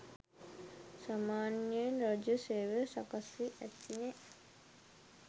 සාමාන්‍යයෙන් රාජ්‍ය සේවය සකස්වී ඇතිතේ